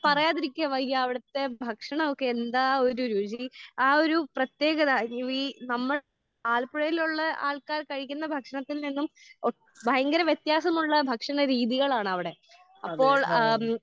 പറയാതിരിക്കാൻ വയ്യ. അവിടുത്തെ ഭക്ഷണം ഒക്കെ എന്താ ഒരു രുചി. ആഹ് ഒരു പ്രതേകത രുചി ഏഹ് നമ്മള് ആലപ്പുഴയിലുള്ള ആൾക്കാർ കഴിക്കുന്ന ഭക്ഷണത്തിൽ നിന്നും ഭയങ്കര വ്യത്യാസമുള്ള ഭക്ഷണ രീതികളാണ് അവിടെ. അപ്പോൾ ഏഹ്